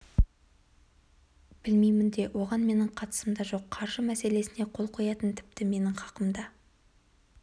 білмеймін де оған менің қатысым да жоқ қаржы мәселесіне қол қоятын тіпті менің хақым да